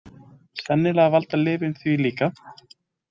Sennilega valda lyfin því líka.